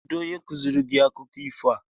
Onye kuziri gi akụkọ ifo a?